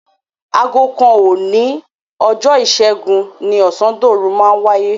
Aago kan òní ọjọ́ Ìṣẹ́gun ni ọ̀sándòru máa wáyé.